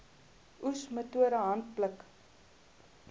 oes metode handpluk